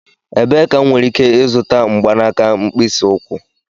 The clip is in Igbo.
Ebee ka m nwere ike ịzụta mgbanaka mkpịsị ụkwụ?